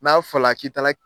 N'a fɔla k'i tala